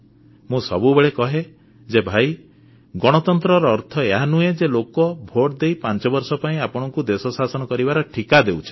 ମୁଁ ସବୁବେଳେ କହେ ଯେ ଭାଇ ଗଣତନ୍ତ୍ରର ଅର୍ଥ ଏହା ନୁହେଁ ଯେ ଲୋକ ଭୋଟଦେଇ ପାଞ୍ଚବର୍ଷ ପାଇଁ ଆପଣଙ୍କୁ ଦେଶ ଶାସନ କରିବାର ଠିକା ଦେଉଛନ୍ତି